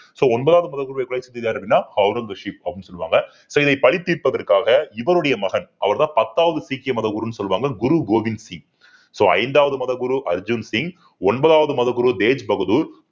so ஒன்பதாவது முறை அப்படின்னா ஔரங்கசீப் அப்படின்னு சொல்லுவாங்க so இதை பழி தீர்ப்பதற்காக இவருடைய மகன் அவர்தான் பத்தாவது சீக்கிய மதகுருன்னு சொல்வாங்க குரு கோவிந்த் சிங் so ஐந்தாவது மதகுரு அர்ஜுன் சிங் ஒன்பதாவது மதகுரு தேஜ் பகதூர்